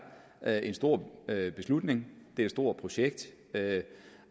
er en stor beslutning det er et stort projekt